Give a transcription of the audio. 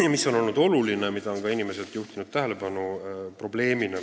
Olulise probleemina on inimesed juhtinud tähelepanu vajadusele anda abi dokumentide koostamisel.